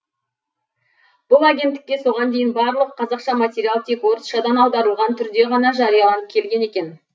бұл агенттікте соған дейін барлық қазақша материал тек орысшадан аударылған түрде ғана жарияланып келген екен